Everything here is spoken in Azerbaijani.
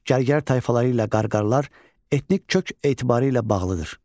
Gərgər tayfaları ilə Qarqarlar etnik kök etibarilə bağlıdır.